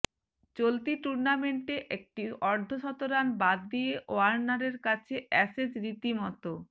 চলতি টুর্নামেন্টে একটা অর্ধশতরান বাদ দিয়ে ওয়ার্নারের কাছে অ্যাসেজ রীতিমতো